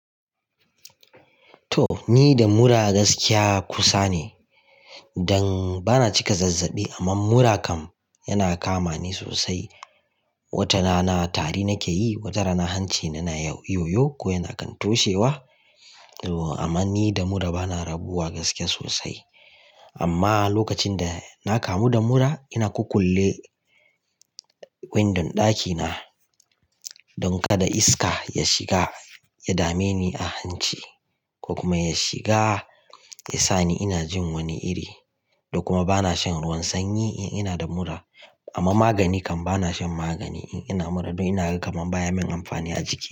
To, ni da mura gaskiya kusa ne. Dan bana cika zazzaɓi amma mura kam yana kama ni sosai. Watarana tari nake yi, watara na hanci, na na yo yo ko yana kan toshewa. Amma ni da mura bana rabuwa gaskiya sosai. Amma lokacin da na kamu da mura ina ƙuƙulle windon ɗakina don kada iska ya shiga ya dame ni a hanci ko kuma ya shiga ya sa ni ina jin wani iri. Da kuma bana shan ruwan sanyi in ina da mura. Amma magani kam bana shan magani in ina mura don ina ga kamar baya min amfani a jiki.